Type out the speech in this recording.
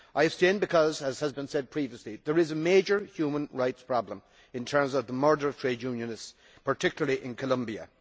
I abstained because, as has been said previously, there is a major human rights problem in the shape of the murder of trade unionists, particularly in Colombia.